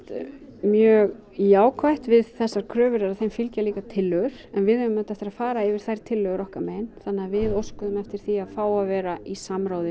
mjög jákvætt við þessar kröfur er að þeim fylgja líka tillögur en við eigum auðvitað eftir að fara yfir þær tillögur okkar megin þa við óskuðum eftir því að fá að vera í samráði